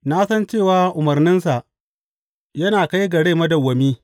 Na san cewa umarninsa yana kai ga rai madawwami.